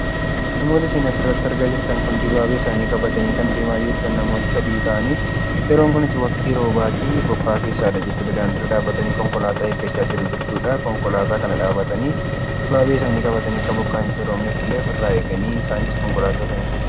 Namoonni isin asirratti argitan kun namoota sadii ta'anii dibaabee isaanii qabatanii deemanidha. Yeroon kunis waqtii roobaati. isaanis bokkaa keessa dhaabbatanii konkolaataa eeggacha jiru.